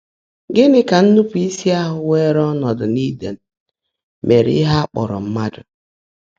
Gị́ní kà nnụ́pụ́ísí áhụ́ wèèré ọ́nọ́dụ́ n’Ídèn mèèré íhe á kpọ́ọ́ró mmádụ́?